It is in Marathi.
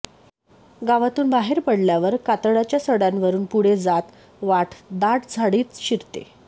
गावातून बाहेर पडल्यावर कातळाच्या सडय़ावरून पुढे जात वाट दाट झाडीत शिरते